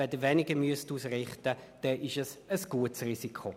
Müssen Sie weniger ausrichten, dann ist es ein gutes Risiko.